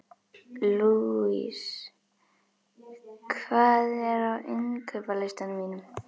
Louise, hvað er á innkaupalistanum mínum?